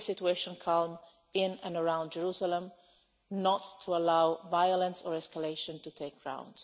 Keep the situation calm in and around Jerusalem, and not to allow violence or escalation to take root.